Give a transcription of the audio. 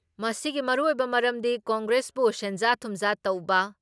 ꯃꯁꯤꯒꯤ ꯃꯔꯨꯑꯣꯏꯕ ꯃꯔꯝꯗꯤ ꯀꯪꯒ꯭ꯔꯦꯁꯕꯨ ꯁꯦꯟꯖꯥ ꯊꯨꯝꯖꯥ ꯇꯧꯕ